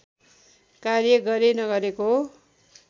कार्य गरे नगरेको